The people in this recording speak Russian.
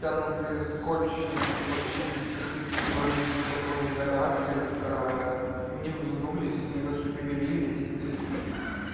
тянутые скотчем вообще без каких-либо между собой изоляций не вздулись не расшевелились